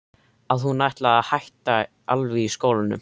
Að hún ætlaði að hætta alveg í skólanum.